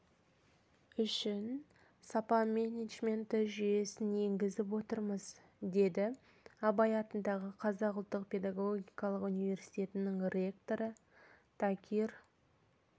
үшін сапа менеджменті жүйесін енгізіп отырмыз деді абай атындағы қазақ ұлттық педагогикалық университетінің ректоры такир